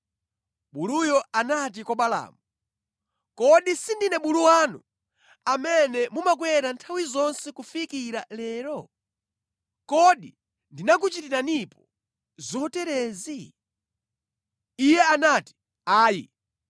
Buluyo anati kwa Balaamu, “Kodi sindine bulu wanu, amene mumakwera nthawi zonse kufikira lero? Kodi ndinakuchitiranipo zoterezi?” Iye anati “Ayi.”